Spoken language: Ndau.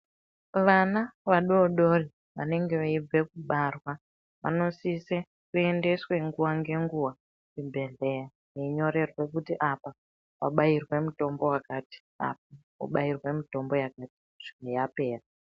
Vana vadodori vanenge veibva kubarwa vanosise kuendeswea nguva ngenguva kuzvibhedhlera kunyorerwe kuti apo wanobayirwa mutombo yakati apa wabayirwa mutombo wakati kusvika yapera.